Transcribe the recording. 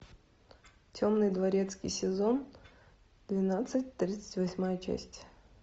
темный дворецкий сезон двенадцать тридцать восьмая часть